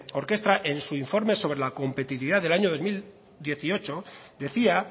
orkestra en su informe sobre la competitividad del año dos mil dieciocho decía